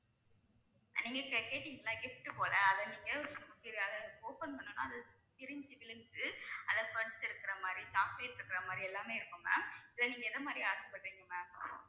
நீங்க இப்ப கேட்டீங்கல்ல gift போல அதை நீங்க அதை நீங்க open பண்ணணும்னா பிரிஞ்சு விழுந்து அதுல இருக்கிற மாதிரி chocolate இருக்குற மாதிரி எல்லாமே இருக்கும் ma'am இதுல நீங்க எந்த மாதிரி ஆசைப்படறீங்க ma'am